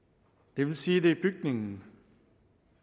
det vil sige at det er bygningen